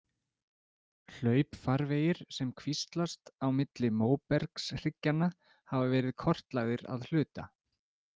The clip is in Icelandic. Hlaupfarvegir sem kvíslast á milli móbergshryggjanna hafa verið kortlagðir að hluta.